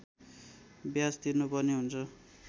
ब्याज तिर्नुपर्ने हुन्छ